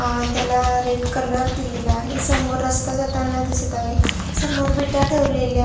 अ त्याला red colour दिलेला आहे समोर रस्ता जाताना दिसत आहे समोर विटा ठेवलेल्या--